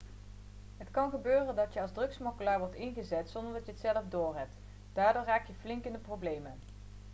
het kan gebeuren dat je als drugssmokkelaar wordt ingezet zonder dat je het zelf doorhebt daardoor raak je flink in de problemen